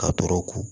Ka tɔɔrɔ ko